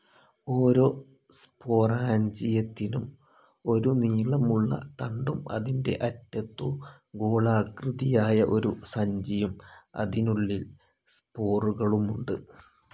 ഓരോ സ്പോറാഞ്ചിയത്തിനും ഒരു നീളമുള്ള തണ്ടും അതിൻ്റെ അറ്റത്തു ഗോളാകൃതിയായ ഒരു സഞ്ചിയും, അതിനുള്ളിൽ സ്പോറുകളുമുണ്ട്.